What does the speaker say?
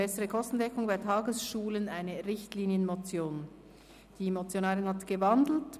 Die Motionärin hat diese umgewandelt.